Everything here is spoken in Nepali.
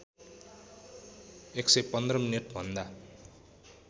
११५ मिनेटभन्दा